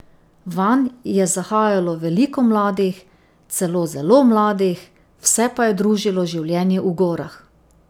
Vanj je zahajalo veliko mladih, celo zelo mladih, vse pa je družilo življenje v gorah.